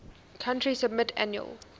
country submit annual